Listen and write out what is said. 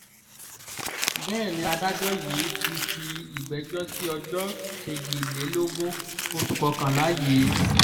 bẹ́ẹ̀ ni adájọ́ yìí ti fi ìgbẹ́jọ́ sí ọjọ́ kejìlélógún oṣù kọkànlá yìí